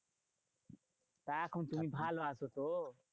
তা এখন তুমি ভালো আছো তো?